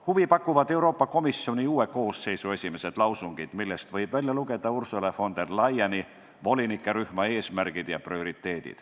Huvi pakuvad Euroopa Komisjoni uue koosseisu esimesed lausungid, millest võib välja lugeda Ursula von der Leyeni volinikerühma eesmärke ja prioriteete.